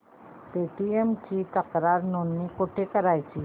Paytm ची तक्रार नोंदणी कुठे करायची